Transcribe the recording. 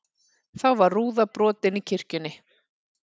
Þá var rúða brotin í kirkjunni